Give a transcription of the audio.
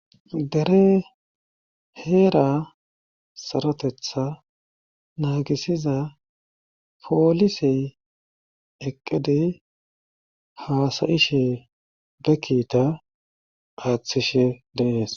Dere heera sarotetha naagisiza poolisey eqqedey haasayishe be kiita aaththishe deenees